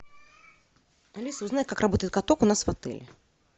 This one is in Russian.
алиса узнай как работает каток у нас в отеле